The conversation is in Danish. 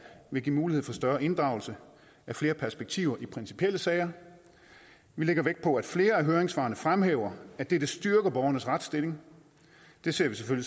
vil give mulighed for større inddragelse af flere perspektiver i principielle sager vi lægger vægt på at flere af høringssvarene fremhæver at det vil styrke borgernes retsstilling det ser vi som